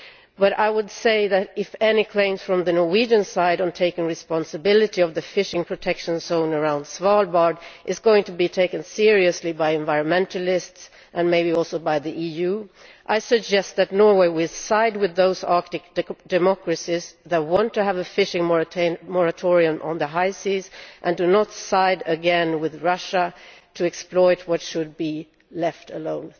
But I would say that if any claims from the Norwegian side on taking responsibility for the fishing protection zone around Svalbard are going to be taken seriously by environmentalists and maybe also by the EU I suggest that Norway sides with those Arctic democracies that want to have a fishing moratorium on the high seas, and not side again with Russia to exploit what should be left alone.